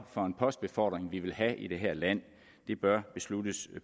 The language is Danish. for en postbefordring vi vil have i det her land det bør besluttes